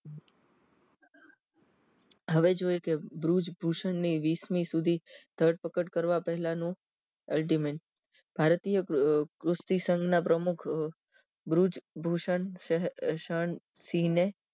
હવે જોઈએ કે ધ્રુજ ભૂષણ ની વીસમી સુધી ધરપકડ કરવા પહેલા નો ultimate ભારતીય પૃસ્તી સંગના પ્રમુખ ભ્રુજ ભૂષણ શ શ્હે શણ સિહ ને